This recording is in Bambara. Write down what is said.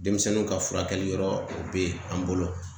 Denmisɛnnuw ka furakɛli yɔrɔ o be yen an bolo